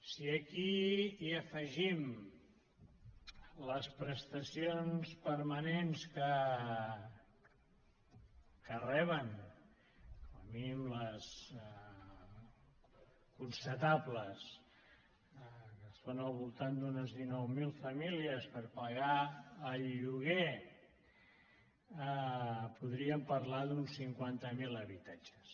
si aquí hi afegim les prestacions permanents que reben com a mínim les constatables que són al voltant d’unes dinou mil famílies per pagar el lloguer podríem parlar d’uns cinquanta mil habitatges